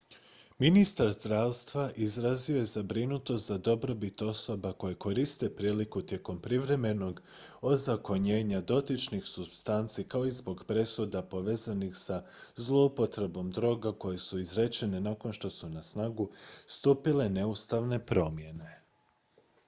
ministar zdravstva izrazio je zabrinutost za dobrobit osoba koje koriste priliku tijekom privremenog ozakonjenja dotičnih supstanci kao i zbog presuda povezanih sa zlouporabom droga koje su izrečene nakon što su na snagu stupile neustavne promjene